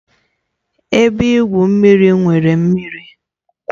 Ebe igwu mmiri nwere mmiri